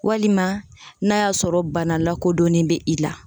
Walima n'a y'a sɔrɔ bana lakodɔnnen be i la.